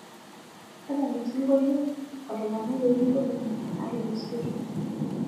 tadala osingolio otopanayioki ngolongi natulusiote